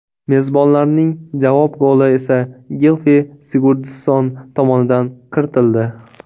Mezbonlarning javob goli esa Gilfi Sigurdsson tomonidan kiritildi.